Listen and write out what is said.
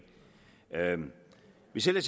hvis jeg